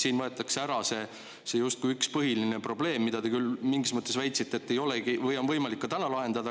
Siin ära justkui see üks põhiline probleem, mille kohta te küll mingis mõttes väitsite, et seda on võimalik ka täna lahendada.